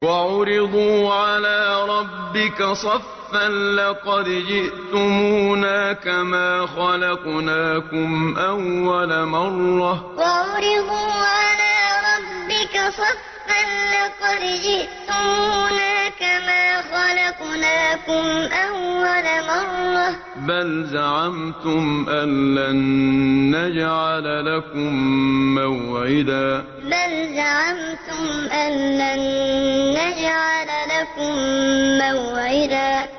وَعُرِضُوا عَلَىٰ رَبِّكَ صَفًّا لَّقَدْ جِئْتُمُونَا كَمَا خَلَقْنَاكُمْ أَوَّلَ مَرَّةٍ ۚ بَلْ زَعَمْتُمْ أَلَّن نَّجْعَلَ لَكُم مَّوْعِدًا وَعُرِضُوا عَلَىٰ رَبِّكَ صَفًّا لَّقَدْ جِئْتُمُونَا كَمَا خَلَقْنَاكُمْ أَوَّلَ مَرَّةٍ ۚ بَلْ زَعَمْتُمْ أَلَّن نَّجْعَلَ لَكُم مَّوْعِدًا